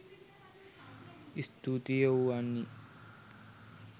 ස්තූතියි ඔව් වන්නි